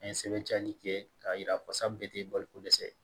An ye sɛbɛn jaani kɛ k'a yira ko sa bɛɛ tɛ baloko dɛsɛ